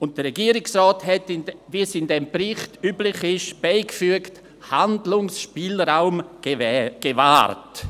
Und der Regierungsrat hat, wie es in diesen Berichten üblich ist, beigefügt: «Handlungsspielraum gewahrt».